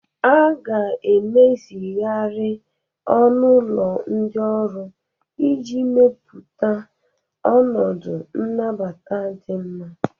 A ga-emezigharị ọnụ ụlọ ndị ọrụ iji mepụta ọnọdụ nnabata di nma.